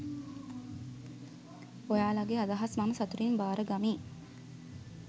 ඔයාලගේ අදහස් මම සතුටින් බාරගමි.